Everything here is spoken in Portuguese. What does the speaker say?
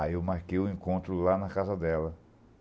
Aí eu marquei o encontro lá na casa dela.